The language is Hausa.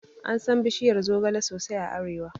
Ansan bishiyar zogala sosai a arewa